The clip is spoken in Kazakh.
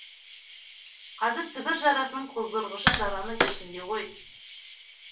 қазір сібір жарасының қоздырғышы жараның ішінде ғой